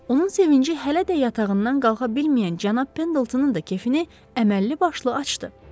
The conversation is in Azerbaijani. Onun sevinci hələ də yatağından qalxa bilməyən cənab Pendletonın da kefini əməlli başlı açdı.